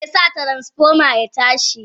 Meke sa Transfoma ya tashi.?